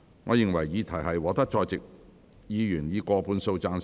我認為議題獲得在席議員以過半數贊成。